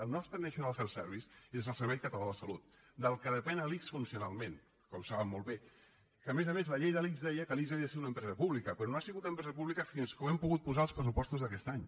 el nostre national health service és el servei català de la salut del qual depèn l’ics funcionalment com saben molt bé que a més a més la llei de l’ics deia que l’ics havia de ser una empresa pública però no ha sigut empresa pública fins que ho hem pogut posar als pressupostos d’aquest any